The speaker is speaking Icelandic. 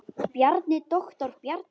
Bjarni, doktor Bjarni.